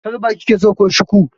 Kalba kike so ko Shiku?